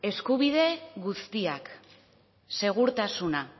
eskubide guztiak segurtasuna